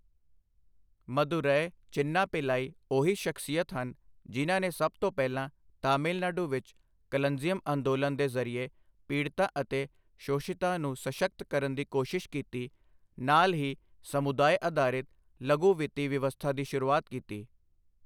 ਮਦੁਰੈ ਚਿੰਨਾ ਪਿੱਲਾਈ ਉਹੀ ਸ਼ਖਸੀਅਤ ਹਨ, ਜਿਨ੍ਹਾਂ ਨੇ ਸਭ ਤੋਂ ਪਹਿਲਾਂ ਤਮਿਲਨਾਡੂ ਵਿੱਚ ਕਲੰਜੀਅਮ ਅੰਦੋਲਨ ਦੇ ਜ਼ਰੀਏ ਪੀੜਤਾਂ ਅਤੇ ਸ਼ੋਸ਼ਿਤਾਂ ਨੂੰ ਸਸ਼ਕਤ ਕਰਨ ਦੀ ਕੋਸ਼ਿਸ਼ ਕੀਤੀ, ਨਾਲ ਹੀ ਸਮੁਦਾਇ ਅਧਾਰਿਤ ਲਘੂ ਵਿੱਤੀ ਵਿਵਸਥਾ ਦੀ ਸ਼ੁਰੂਆਤ ਕੀਤੀ।